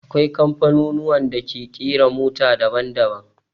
Akwai kamfanuwan da ke ƙera mota daban daban